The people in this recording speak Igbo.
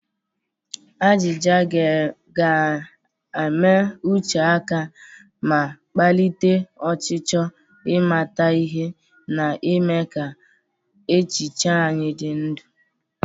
Ajịja ga-ama uche aka ma kpalite ọchịchọ ịmata ihe, na-eme ka echiche anyị dị ndụ.